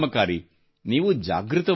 ನೀವು ಜಾಗೃತವಾಗಿರಬೇಕು